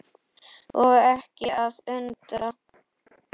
Og ekki að undra.